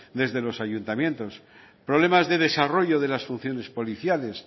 desde los ayuntamientos problemas de desarrollo de las funciones policiales